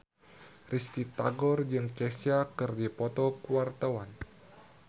Risty Tagor jeung Kesha keur dipoto ku wartawan